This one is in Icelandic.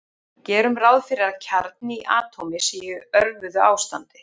Gerum ráð fyrir að kjarni í atómi sé í örvuðu ástandi.